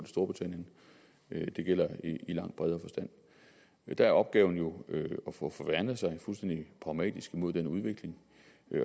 storbritannien det gælder i langt bredere forstand der er opgaven jo at værne sig fuldstændig pragmatisk imod den udvikling